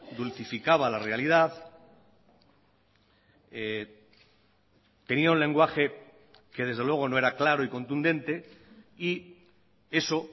dulcificaba la realidad tenía un lenguaje que desde luego no era claro y contundente y eso